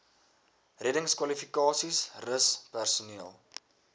reddingskwalifikasies rus personeel